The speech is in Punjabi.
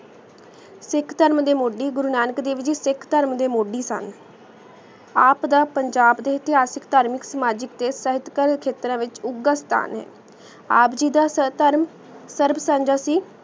ਇਕ ਟਰਮ ਦੀ ਮੋਦੀ ਗੁਰੂ ਨਾਨਕ ਦੇਵ ਜੀ ਸਿਖ ਟਰਮ ਦੇ ਮੁੜੀ ਸਨ ਆਪ ਦਾ ਪੰਜਾਬ ਦੇ ਐਤਿਹਾਸਿਕ ਥਾਰ੍ਮਿਕ ਸਾਮਜਿਕ ਤੇ ਇਸ ਤਹਤ ਕਲ ਖੇਤਾ ਵਿਚ ਉਗਾਸ੍ਤਾਨ ਹੈ ਆਪ ਜੀ ਦਾ ਸਰ ਟਰਮ ਸੀ